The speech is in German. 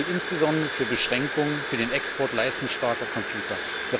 Dies gilt insbesondere für Beschränkungen für den Export leistungsstarker Computer.